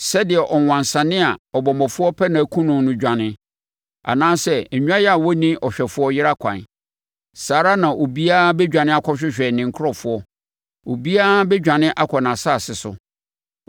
Sɛdeɛ ɔwansane a ɔbɔmmɔfoɔ repɛ no akum no dwane, anaasɛ nnwan a wɔnni ɔhwɛfoɔ yera kwan, saa ara na obiara bɛdwane akɔhwehwɛ ne nkurɔfoɔ. Obiara bɛdwane akɔ nʼasase so.